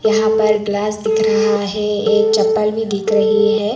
यहां पर ग्लास दिख रहा है एक चप्पल भी दिख रही है।